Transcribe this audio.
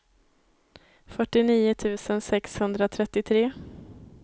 fyrtionio tusen sexhundratrettiotre